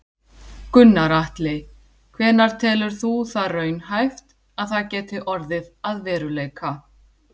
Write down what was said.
Gunnar Atli: Hvenær telur þú það raunhæft að það geti orðið að veruleika?